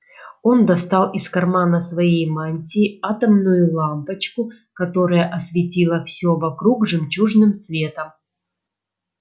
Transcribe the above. он достал из кармана своей мантии атомную лампочку которая осветила всё вокруг жемчужным светом